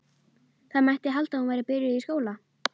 Það mætti halda að hún væri byrjuð í skóla.